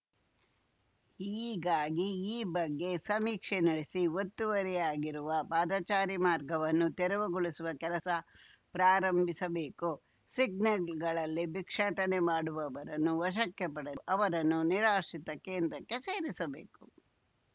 ಹೀಗಾಗಿ ಈ ಬಗ್ಗೆ ಸಮೀಕ್ಷೆ ನಡೆಸಿ ಒತ್ತುವರಿಯಾಗಿರುವ ಪಾದಚಾರಿ ಮಾರ್ಗವನ್ನು ತೆರವುಗೊಳಿಸುವ ಕೆಲಸ ಪ್ರಾರಂಭಿಸಬೇಕು ಸಿಗ್ನಲ್‌ಗಳಲ್ಲಿ ಭಿಕ್ಷಾಟನೆ ಮಾಡುವವರನ್ನು ವಶಕ್ಕೆ ಪಡೆದು ಅವರನ್ನು ನಿರಾಶ್ರಿತ ಕೇಂದ್ರಕ್ಕೆ ಸೇರಿಸಬೇಕು